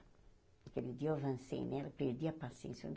Aquele dia eu avancei nela, perdi a paciência.